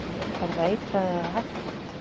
Er það eitrað eða hættulegt?